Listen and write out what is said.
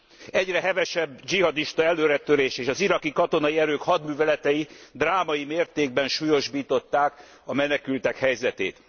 Az egyre hevesebb dzsihadista előretörés és az irkai katonai erők hadműveletei drámai mértékben súlyosbították a menekültek helyzetét.